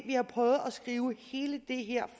vi har prøvet at skrive hele det her